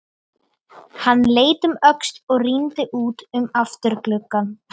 Hann leit um öxl og rýndi út um afturgluggann.